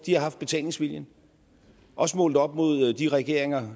har haft betalingsviljen også målt op mod de regeringer